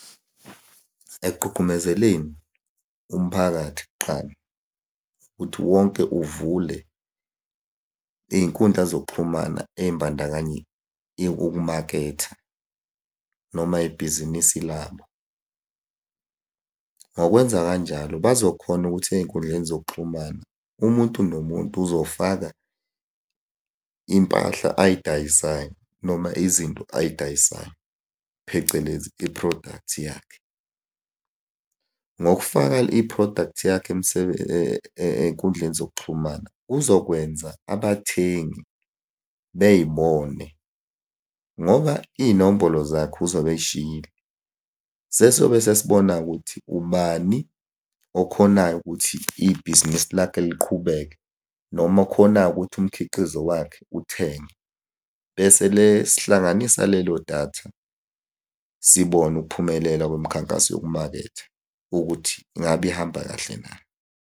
Ekugqugqumezeleni umphakathi kuqala, ukuthi wonke uvule iy'nkundla zokuxhumana ey'mbandakanya ukumaketha, noma ibhizinisi labo. Ngokwenza kanjalo bazo khona ukuthi ey'nkundleni zokuxhumana, umuntu nomuntu uzofaka iy'mpahla ay'dayisayo noma izinto ay'dayisayo, phecelezi i-product yakhe. Ngokufaka i-product yakhe ey'nkundleni zokuxhumana kuzokwenza abathengi bey'bone ngoba iy'nombolo zakhe uzobe ey'shiyile. Sesiyobe sesibona-ke ukuthi ubani okhonayo ukuthi ibhizinisi lakhe liqhubeke noma khona-ke ukuthi umkhiqizo wakhe uthengwe. Bese sihlanganisa lelo datha, sibone ukuphumelela kwemikhankaso yokumaketha ukuthi ngabe ihamba kahle na.